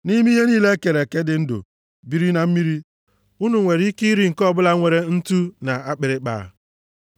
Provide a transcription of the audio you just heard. Nʼime ihe niile e kere eke, dị ndụ, biri na mmiri, unu nwere ike iri nke ọbụla nwere ntu na akpịrịkpa,